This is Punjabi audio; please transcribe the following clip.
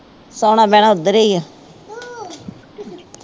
ਸੌਣਾ ਬਹਿਣਾ ਉੱਧਰ ਹੀ ਹੈ